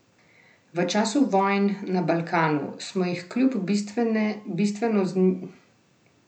V času vojn na Balkanu smo jih kljub bistveno nižjemu standardu zmogli sprejeti stokrat več.